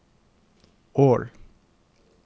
Ål